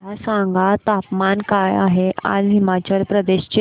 मला सांगा तापमान काय आहे आज हिमाचल प्रदेश चे